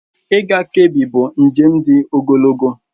Ịga Kebbi bụ njem dị ogologo.